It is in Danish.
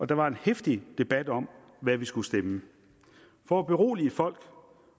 der var en heftig debat om hvad vi skulle stemme for at berolige folk